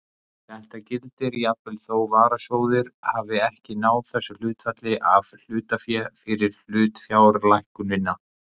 Þetta gildir jafnvel þó varasjóður hafi ekki náð þessu hlutfalli af hlutafé fyrir hlutafjárlækkunina.